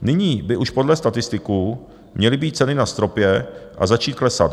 Nyní by už podle statistiků měly být ceny na stropě a začít klesat.